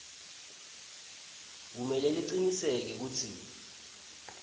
kumele licinisekise kutsi